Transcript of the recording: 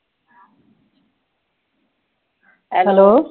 hello